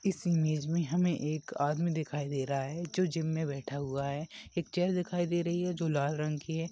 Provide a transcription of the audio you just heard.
इस इमेज मे हमे एक आदमी दिखाई दे रहा है जो जिम मे बैठा हुआ है एक चेअर दिखाई दे रही है जो लाल रंग की है।